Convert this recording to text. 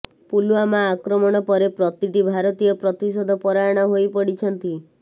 ପୁଲୱାମା ଆକ୍ରମଣ ପରେ ପ୍ରତିଟି ଭାରତୀୟ ପ୍ରତିଶୋଧ ପରାୟଣ ହୋଇପଡ଼ିଛନ୍ତି